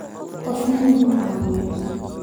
Qofna nama caawiyo